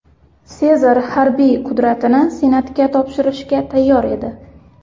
Sezar harbiy qudratini Senatga topshirishga tayyor edi.